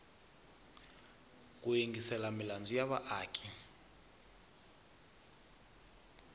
ku yingisela milandzu ya vaaki